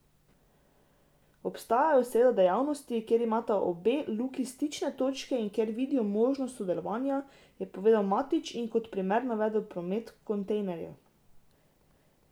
Obstajajo seveda dejavnosti, kjer imata obe luki stične točke in kjer vidijo možnost sodelovanja, je povedal Matić in kot primer navedel promet kontejnerjev.